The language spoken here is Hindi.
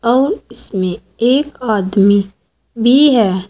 और इसमें एक आदमी भी है।